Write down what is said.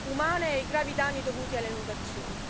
umane e i gravi danni dovuti alle inondazioni.